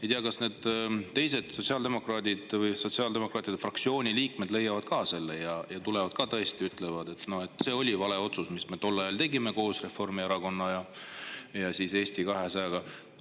Ei tea, kas need teised sotsiaaldemokraadid või sotsiaaldemokraatide fraktsiooni liikmed leiavad ka selle ning tõesti ütlevad, et no see oli vale otsus, mis me tol ajal tegime koos Reformierakonna ja Eesti 200-ga.